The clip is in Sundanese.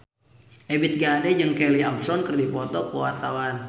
Ebith G. Ade jeung Kelly Osbourne keur dipoto ku wartawan